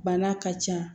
Bana ka ca